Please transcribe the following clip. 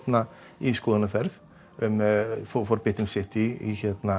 í skoðunarferð um City